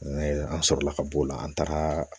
an sɔrɔla ka b'o la an tagara